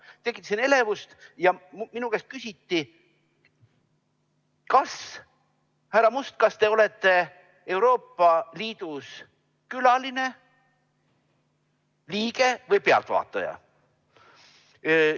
Tekitasin elevust ja minu käest küsiti: "Härra Must, kas te olete Euroopa Liidus külaline, liige või pealtvaataja?